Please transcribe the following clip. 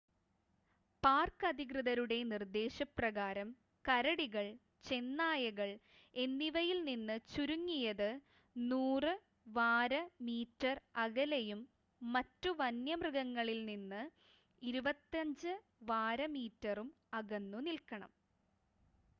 Park അധികൃതരുടെ നിർദ്ദേശ പ്രകാരം കരടികൾ ചെന്നായകൾ എന്നിവയിൽനിന്ന് ചുരുങ്ങിയത് 100 വാര/മീറ്റർ അകലെയും മറ്റു വന്യമൃഗങ്ങളിൽനിന്ന് 25 വാര/മീറ്ററും അകന്നു നിൽക്കണം!